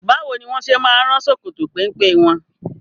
Báwo ni wọ́n ṣe máa ń rán ṣòkòtò pẹ́mpẹ́ wọn?